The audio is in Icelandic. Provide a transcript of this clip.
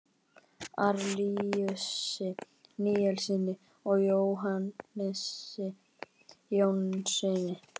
Árelíusi Níelssyni og Jónasi Jónssyni.